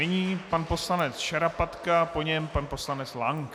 Nyní pan poslanec Šarapatka, po něm pan poslanec Lank.